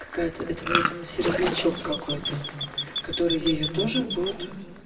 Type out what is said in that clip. какая-то это будет середнячок какой-то который её тоже будет